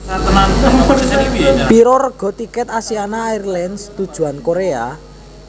Piro rega tiket Asiana Airlines tujuan Korea?